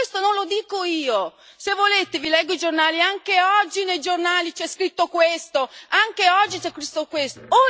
Questo non lo dico io se volete vi leggo i giornali, anche oggi nei giornali c'è scritto questo, anche oggi c'è scritto questo.